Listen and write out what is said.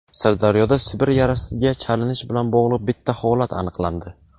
Sirdaryoda Sibir yarasiga chalinish bilan bog‘liq bitta holat aniqlandi.